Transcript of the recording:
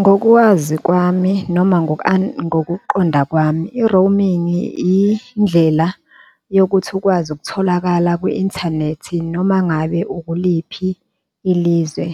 Ngokwazi kwami noma ngokuqonda kwami i-roaming indlela yokuthi ukwazi ukutholakala kwi-inthanethi noma ngabe ukuliphi ilizwe,